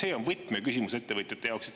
See on võtmeküsimus ettevõtjate jaoks.